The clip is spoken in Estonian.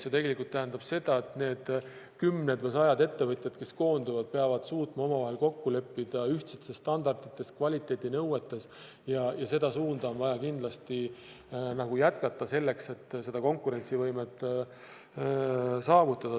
See tegelikult tähendab seda, et need kümned või sajad ettevõtjad, kes koonduvad, peavad suutma omavahel kokku leppida ühtsetes standardites, kvaliteedinõuetes, ja seda suunda on vaja kindlasti jätkata selleks, et seda konkurentsivõimet saavutada.